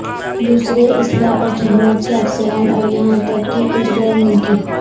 دوسرے اسلحہ اور خدمات کے افسران اور یہاں تک کہ کچھ غیر ملکی